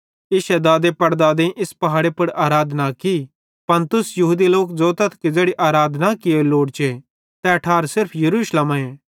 इश्शे दादेपड़दादेईं इस पहाड़े पुड़ आराधना की पन तुस यहूदी लोक ज़ोतथ कि ज़ैड़ी आराधना कियोरी लोड़चे तै ठार सिर्फ यरूशलेम आए